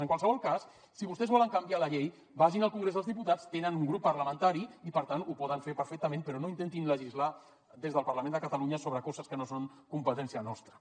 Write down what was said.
en qualsevol cas si vostès volen canviar la llei vagin al congrés dels diputats tenen un grup parlamentari i per tant ho poden fer perfectament però no intentin legislar des del parlament de catalunya sobre coses que no són competència nostra